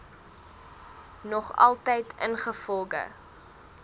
nog altyd ingevolge